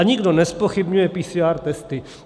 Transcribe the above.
A nikdo nezpochybňuje PCR testy.